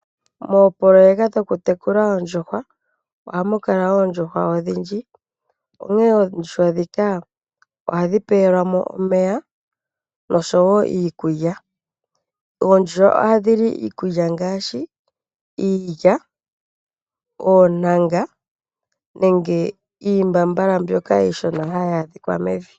Moopoloyeka dhoku tekula oondjuhwa, ohamu kala oondjuhwa odhindji. Onkene oondjuhwa ndhika ohadhi pewelwamo omeya noshowo iikulya. Oondjuhwa ohadhili iikulya ngaashi iilya, oontanga nenge iimbambala mbyoka iishona hayi adhika mevi.